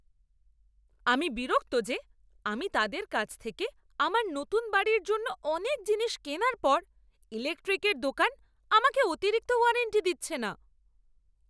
আমি বিরক্ত যে, আমি তাদের কাছ থেকে আমার নতুন বাড়ির জন্য অনেক জিনিস কেনার পর ইলেকট্রিকের দোকান আমাকে অতিরিক্ত ওয়ারেন্টি দিচ্ছে না।